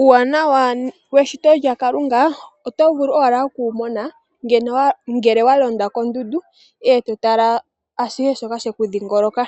Uuwanawa weshito lyaKalunga oto vulu owala okuwumona ngele walonda kondundu eto tala ashihe shoka sheku dhingoloka